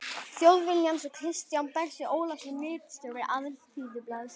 Þjóðviljans og Kristján Bersi Ólafsson ritstjóri Alþýðublaðsins.